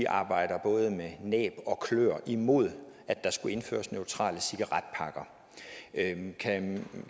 arbejder både med næb og kløer imod at der skal indføres neutrale cigaretpakker kan